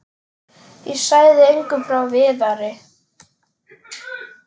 Ég sagði engum frá Viðari.